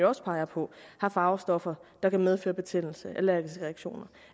også peger på har farvestoffer der kan medføre betændelse og allergiske reaktioner